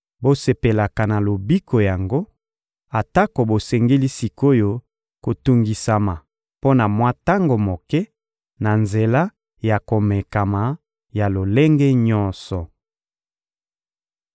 Bosepelaka na lobiko yango, atako bosengeli sik’oyo kotungisama mpo na mwa tango moke na nzela ya komekama ya lolenge nyonso.